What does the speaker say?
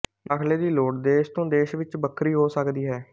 ਦਾਖ਼ਲੇ ਦੀ ਲੋੜ ਦੇਸ਼ ਤੋਂ ਦੇਸ਼ ਵਿੱਚ ਵੱਖਰੀ ਹੋ ਸਕਦੀ ਹੈ